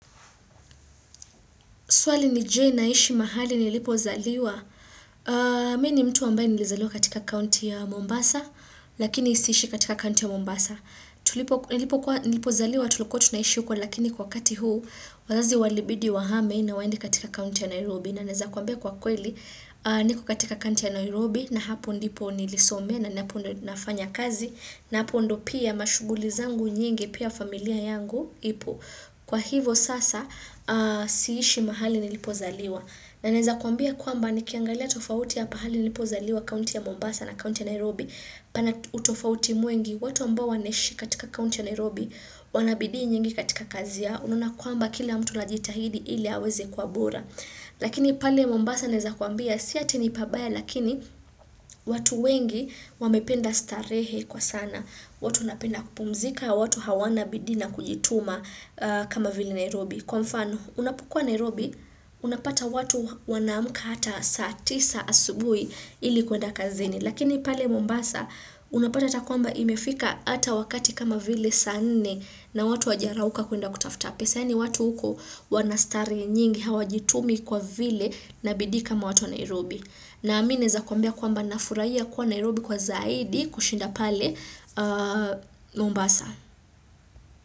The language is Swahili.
Swali ni je, naishi mahali nilipozaliwa? Mimi ni mtu ambaye nilizaliwa katika county ya Mombasa, lakini siishi katika county ya Mombasa, nilipokuwa nilipozaliwa tulikuwa tunaishi huko, lakini kwa wakati huu, wazazi walibidi wahame na waende katika county ya Nairobi. Na naweza kuambia kwa kweli, niko katika county ya Nairobi, na hapo ndipo nilisomea, na hapo ndipo nafanya kazi, na hapo ndo pia mashuguli zangu nyingi, pia familia yangu ipo. Kwa hivo sasa siishi mahali nilipozaliwa. Na naweza kuambia kwamba nikiangalia tofauti ya pahali nilipozaliwa kaunti ya Mombasa na kaunti ya Nairobi. Pana utofauti mwingi, watu ambao wanaishi katika kaunti ya Nairobi wanabidii nyingi katika kazi yao. Unaona kuamba kila mtu anajitahidi ili aweze kuabura. Lakini pale Mombasa neweza kuambia si eti ni pabaya lakini watu wengi wamependa starehe kwa sana. Watu wanapenda kupumzika, watu hawana bidii na kujituma kama vile Nairobi. Kwa mfano unapukua Nairobi unapata watu wanamka hata saa tisa asubuhi ili kuenda kazini. Lakini pale Mombasa, unapata hata kwamba imefika hata wakati kama vile saa nne na watu hawaja rauka kuenda kutafuta pesa. Nadhani watu huko wanastarehe nyingi hawajitumi kwa vile na bidii kama watu wa Nairobi. Nami naweza kwambia nafurahia kuwa Nairobi kwa zaidi kushinda pale Mombasa.